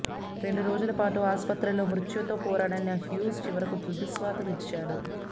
రెండు రోజుల పాటు ఆసుపత్రిలో మృత్యువుతో పోరాడిన హ్యూస్ చివరకు తుదిశ్వాస విడిచాడు